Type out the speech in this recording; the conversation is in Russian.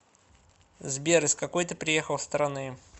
сбер из какой ты приехал страны